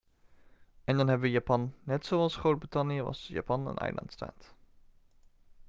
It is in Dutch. en dan hebben we japan net zoals groot-brittannië was japan een eilandstaat